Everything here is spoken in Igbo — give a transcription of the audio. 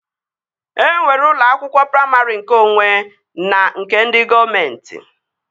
E nwere ụlọ akwụkwọ praimarị nkeonwe na nke ndị gọọmenti